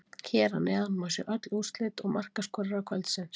Hér að neðan má sjá öll úrslit og markaskorara kvöldsins: